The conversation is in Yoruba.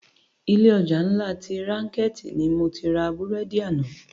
Ilé òjá nlá ti rànkèti ni mó ti rá búrèdi àná